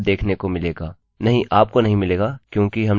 नहीं आपको नहीं मिलेगा क्योंकि हमने अभी तक अपने फील्ड्सfields के नाम नहीं बनाएँ है